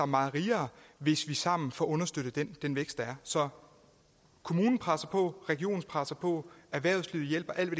meget rigere hvis vi sammen får understøttet den vækst der er så kommunen presser på regionen presser på og erhvervslivet hjælper alt